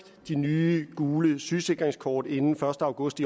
de nye gule sygesikringskort inden første august